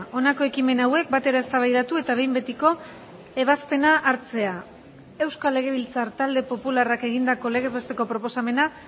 honako ekimen hauek batera eztabaidatu eta behin betiko ebazpena hartzea euskal legebiltzar talde popularrak egindako legez besteko proposamena